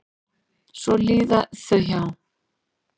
Svo líða þau hjá.